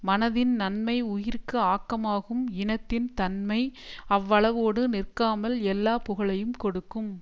மனதின் நன்மை உயிர்க்கு ஆக்கமாகும் இனத்தின் தன்மை அவ்வளவோடு நிற்காமல் எல்லா புகழையும் கொடுக்கும்